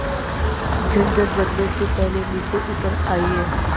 झंझट बढ़ने से पहले नीचे उतर आइए